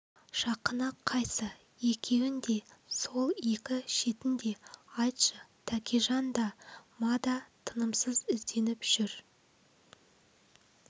жақыны қайсы екеуін де сол екі шетін де айтшы тәкежан да ма да тынымсыз ізденіп жүр